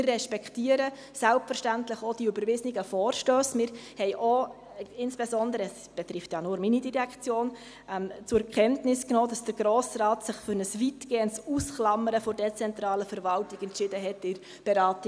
Wir respektieren selbstverständlich auch die überwiesenen Vorstösse und haben insbesondere auch zur Kenntnis genommen – es betrifft ja nur meine Direktion –, dass sich der Grosse Rat bei der Beratung der Planungserklärung Brönnimann für ein weitgehendes Ausklammern der dezentralen Verwaltung entschieden hat.